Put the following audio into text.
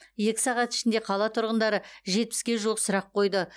екі сағат ішінде қала тұрғындары жетпіске жуық сұрақ қойды